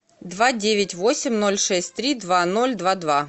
два девять восемь ноль шесть три два ноль два два